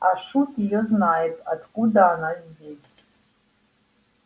а шут её знает откуда она здесь